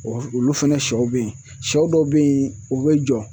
Olu fɛnɛ sɔw be yen sɔ dɔw be yen o bɛ jɔ.